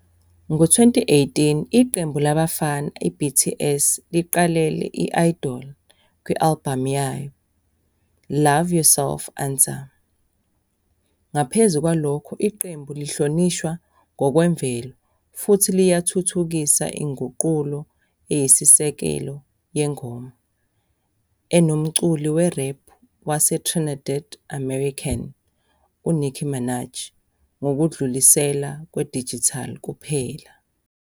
Ngo-2018, iqembu labafana i-BTS liqalela i-"Idol" kwi-albhamu yabo "Love Yourself- Answer". Ngaphezu kwalokho, iqembu lihlonishwa ngokwemvelo, futhi liyathuthukisa inguqulo eyisisekelo yengoma, enomculi we-rap waseTrinidad-American, uNicki Minaj, ngokudlulisela kwe-digital kuphela.